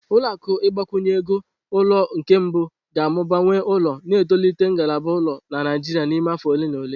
Ụlọ akụ ịgbazinye ego ulo nke mbụ ga-amụba nwe ụlọ, na-etolite ngalaba ụlọ na Naijiria n'ime afọ ole na ole.